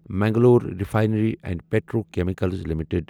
Mangalore refinery and petrochemicals limited